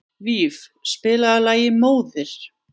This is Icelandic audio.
Víf, spilaðu lagið „Móðir“.